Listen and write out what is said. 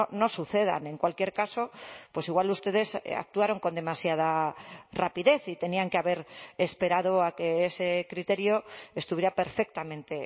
no sucedan en cualquier caso pues igual ustedes actuaron con demasiada rapidez y tenían que haber esperado a que ese criterio estuviera perfectamente